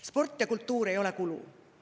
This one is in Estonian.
Sport ja kultuur ei ole kulu.